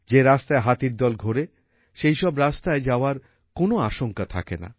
যে রাস্তায় হাতির দল ঘোরে সেইসব রাস্তায় যাওয়ার কোনো আশঙ্কা থাকেনা